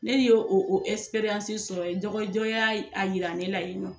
Ne yo o o sɔrɔ ye dɔgɔjɔ ya a yira ne la ye nɔ.